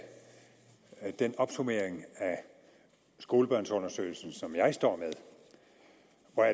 den opsummering af skolebørnsundersøgelsen som jeg står